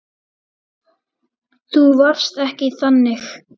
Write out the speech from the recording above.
Þú varst ekki þannig.